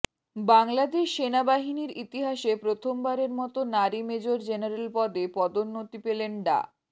বাংলাদেশ সেনাবাহিনীর ইতিহাসে প্রথমবারের মতো নারী মেজর জেনারেল পদে পদোন্নতি পেলেন ডা